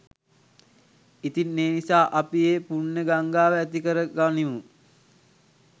ඉතින් ඒ නිසා අපි ඒ පුණ්‍ය ගංගාව ඇති කරගනිමු